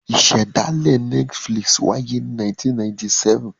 Ìṣẹ̀dálẹ̀ Netflix wáyé ní 1997.